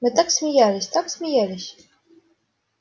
мы так смеялись так смеялись